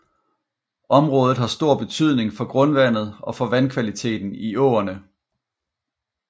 Området har stor betydning for grundvandet og for vandkvaliteten i åerne